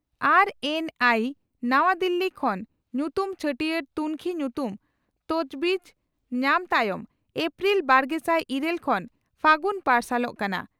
RNI ᱱᱟᱣᱟ ᱫᱤᱞᱤ ᱠᱷᱚᱱ ᱧᱩᱛᱩᱢ ᱪᱷᱟᱹᱴᱤᱭᱟᱹᱨ ᱛᱩᱱᱠᱷᱤ ᱧᱩᱛᱩᱢ ᱛᱚᱡᱵᱤᱪ) ᱧᱟᱢ ᱛᱟᱭᱚᱢ ᱮᱯᱨᱤᱞ, ᱵᱟᱨᱜᱮᱥᱟᱭ ᱤᱨᱟᱹᱞ ᱠᱷᱚᱱ ᱯᱷᱟᱹᱜᱩᱱ ᱯᱟᱨᱥᱟᱞᱚᱜ ᱠᱟᱱᱟ ᱾